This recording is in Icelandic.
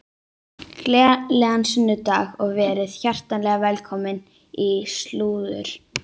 Gleðilegan sunnudag og verið hjartanlega velkomin í slúður.